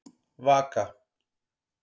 Vaka